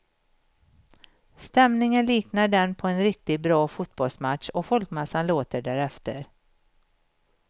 Stämningen liknar den på en riktigt bra fotbollsmatch och folkmassan låter därefter.